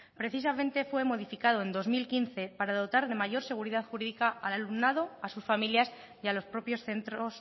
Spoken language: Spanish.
precisamente fue modificado en dos mil quince para dotar de mayor seguridad jurídica al alumnado a sus familias y a los propios centros